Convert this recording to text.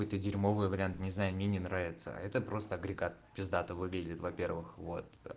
какой то дерьмовый вариант не знаю мне не нравится это просто агрегат пиздата выглядит во-первых вот